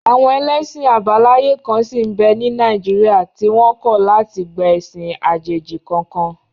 Àwọn ẹlẹ́sìn àbáláyé kan sí n bẹ́ ní Nàìjíríà tí wọ́n kọ̀ láti gba ẹ̀sìn àjèjì kankan